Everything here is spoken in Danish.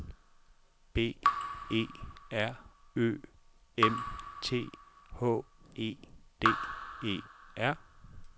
B E R Ø M T H E D E R